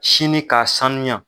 Sini k'a sanuya.